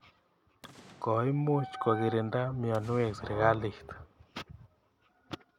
Koimuch kokirinda mianwek sirikalit